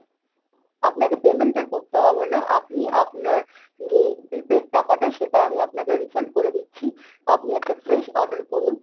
আপনাকে payment টা করতে হবে না, আপনি আপনার যেই prepaid টাকা টা সেটা আমি আপনাকে refund করে দিচ্ছি। আপনি একটা fresh order করুন